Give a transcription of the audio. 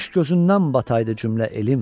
Kaş gözündən bataydı cümlə elim.